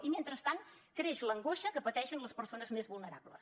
i mentrestant creix l’angoixa que pateixen les persones més vulnerables